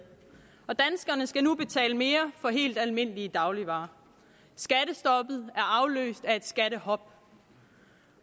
og danskerne skal nu betale mere for helt almindelige dagligvarer skattestoppet er afløst af et skattehop